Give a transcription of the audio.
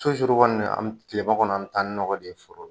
kɔni an tilema kɔni an mi taa ni nɔgɔ de ye foro la.